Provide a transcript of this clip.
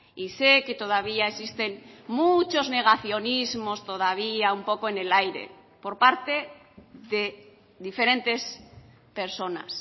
y sé que todavía existen muchos negacionismos todavía un poco en el aire por parte de diferentes personas